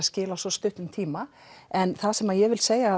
skil á svo stuttum tíma en það sem ég vil segja